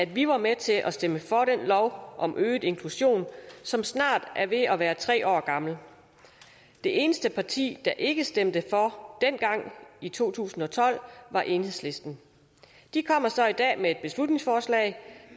vi var med til at stemme for den lov om øget inklusion som snart er ved at være tre år gammel det eneste parti der ikke stemte for dengang i to tusind og tolv var enhedslisten de kommer så i dag med et beslutningsforslag